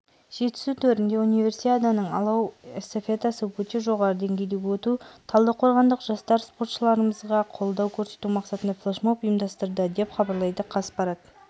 жетісу төрінде универсиаданың алау эстафетасы өте жоғары деңгейде өтуде талдықорғандық жастар спортшыларымызға қолдау көрсету мақсатында флешмоб ұйымдастырды деп хабарлайды қазақпарат